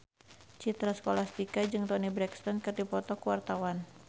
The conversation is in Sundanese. Citra Scholastika jeung Toni Brexton keur dipoto ku wartawan